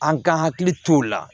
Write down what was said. An ka hakili t'o la